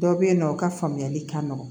Dɔw bɛ yen nɔ u ka faamuyali ka nɔgɔ